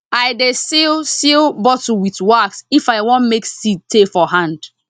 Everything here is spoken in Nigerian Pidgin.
i dey seal seal bottle with wax if i wan make seed tey for hand